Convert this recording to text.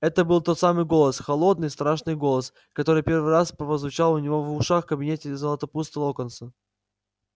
это был тот самый голос холодный страшный голос который первый раз прозвучал у него в ушах в кабинете златопуста локонса